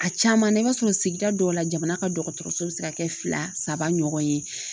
A caman na i b'a sɔrɔ sigida dɔw la jamana ka dɔgɔtɔrɔso bɛ se ka kɛ fila saba ɲɔgɔn ye